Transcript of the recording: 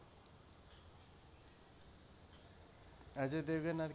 Ajay Devgan আর,